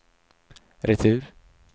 retur